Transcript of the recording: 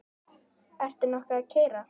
Ertu nokkuð að keyra?